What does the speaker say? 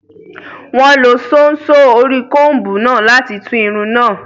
Wọ́n lo ṣóńṣó orí kọńbù náà láti tú irun náà